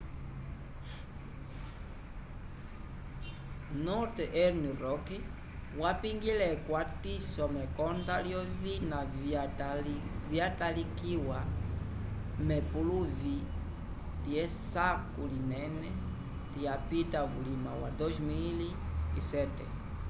northern rock wapingile ekwatiso mekonda lyovina vyatalikiwa k'epuluvi lyesako linene lyapita vulima wa 2007